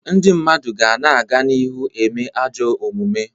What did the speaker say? Ndị mmadụ ga na-aga n'ihu na-eme ajọ omume.